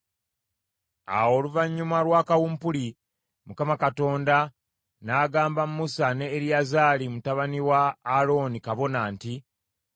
Awo oluvannyuma lwa kawumpuli, Mukama Katonda n’agamba Musa ne Eriyazaali, mutabani wa Alooni, kabona, nti,